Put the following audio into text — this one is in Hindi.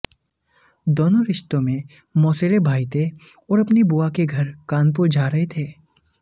दोनों रिश्ते में मौसेरे भाई थे और अपनी बुआ के घर कानपुर जा रहे थे